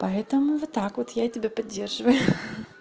поэтому вот так вот я тебя поддерживаю ха-ха